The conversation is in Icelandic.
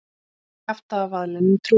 Og kjaftavaðlinum trúir hann.